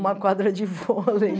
Uma quadra de vôlei